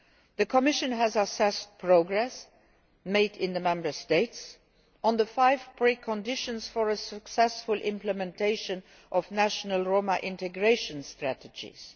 The Commission has assessed progress made in the Member States on the five preconditions for a successful implementation of national Roma integration strategies.